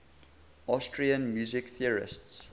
austrian music theorists